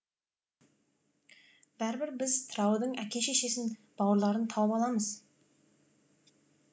бәрібір біз тыраудың әке шешесін бауырларын тауып аламыз